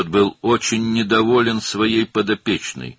O, himayəsindəki qızdan çox narazı idi.